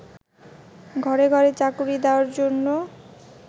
ঘরে ঘরে চাকুরী দেয়ার জন্য